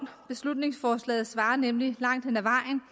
beslutningsforslaget svarer nemlig langt hen ad vejen